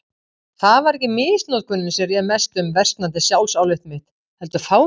Það var ekki misnotkunin sem réð mestu um versnandi sjálfsálit mitt, heldur fátæktin.